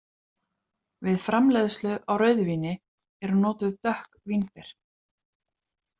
Við framleiðslu á rauðvíni eru notuð dökk vínber.